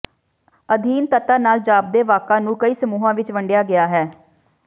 ਅਧੀਨ ਤੱਤਾਂ ਨਾਲ ਜਾਪਦੇ ਵਾਕਾਂ ਨੂੰ ਕਈ ਸਮੂਹਾਂ ਵਿੱਚ ਵੰਡਿਆ ਗਿਆ ਹੈ